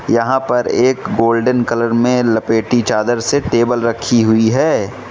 यहां पर एक गोल्डन कलर मे लपेटी चादर से टेबल रखी हुई हैं।